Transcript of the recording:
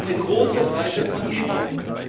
Also eine große Breite von Zielgruppen.